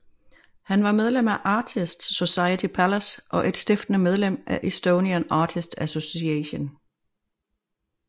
Han var medlem af Artists Society Pallas og et stiftende medlem af Estonian Artists Association